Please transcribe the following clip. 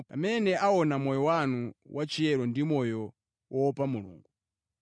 pamene aona moyo wanu wachiyero ndi moyo woopa Mulungu.